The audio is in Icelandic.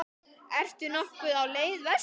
Ertu nokkuð á leið vestur?